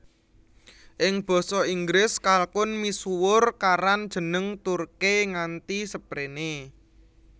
Ing basa Inggris kalkun misuwur karan jeneng Turkey nganti srepéné